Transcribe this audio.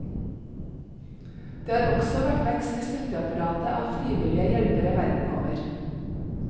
Det har også vært vekst i støtteapparatet av frivillige hjelpere verden over.